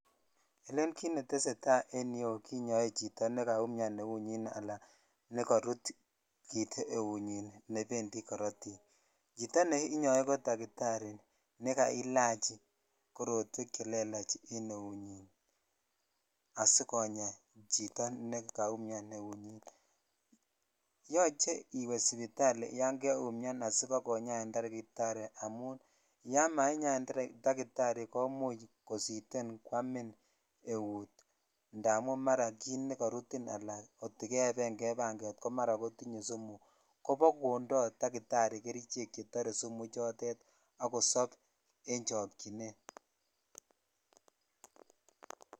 Elen kit netesetai en yuu kinyoe chito nekaumian eunyin ana nekorut kit eunyin nebendi koritik chito neinyoe ko dakitari nekaiilach tuguk che lelach en eunyin asikonya nekaumian eunyin yoche iwee sipitali sibakonyain dakitari amun yan mainyain dakitari komuch kositen kwamin eut indamun ingorutin katet ela kot ko keeven kee banget komaraa kotinye sumu kobakondeun dakitari kerichek chetoree sumu ichotet ak kosop en chokchinet.